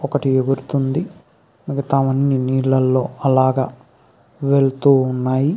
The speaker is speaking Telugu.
ఒకటి ఎగురుతుంది మిగితావన్నీ నీళ్ళల్లో అలా వెళ్తూ ఉన్నాయి.